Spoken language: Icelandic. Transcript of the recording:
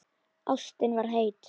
Ástin var heit.